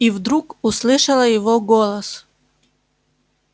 и вдруг услышала его голос